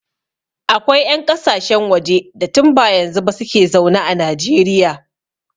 Akwai 'yan ƙasashen waje da tun ba yanzu ba su ke zaune a Najeriya.